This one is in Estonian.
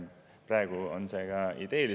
Praegu on tegu ideega.